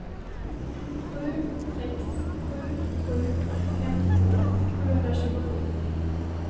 sju sex sju sju femtiotvå sjuhundratjugosju